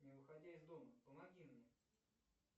не выходя из дома помоги мне